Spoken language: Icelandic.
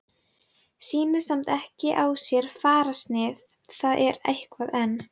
Sýnir samt ekki á sér fararsnið, það er eitthvað enn.